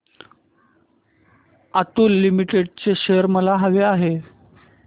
Atul limited चे shares मला हवे आहेत